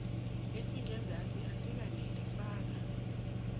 esingenzasi asikaneli faka